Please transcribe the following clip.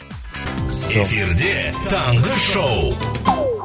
эфирде таңғы шоу